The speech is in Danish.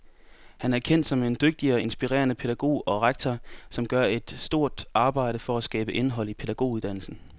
Han er kendt som en dygtig og inspirerende pædagog og rektor, som gør et stort arbejde for at skabe indhold i pædagoguddannelsen.